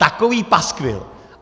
Takový paskvil.